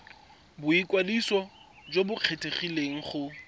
boikwadiso jo bo kgethegileng go